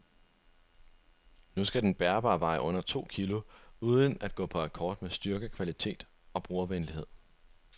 Nu skal den bærbare veje under to kilo uden at gå på akkord med styrke, kvalitet og brugervenlighed.